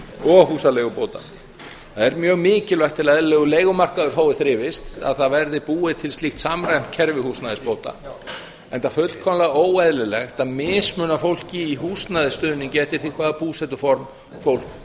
og húsaleigubóta það er mjög mikilvægt til að eðlilegur leigumarkaður fái þrifist að það verði búið til slíkt samræmt kerfi húsnæðisbóta enda fullkomlega óeðlilegt að mismuna fólki í húsnæðisstuðningi eftir því hvaða búsetuform fólk